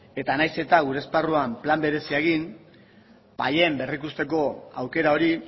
eta nahiz eta gure esparruan plan berezia paien berrikusteko aukera hori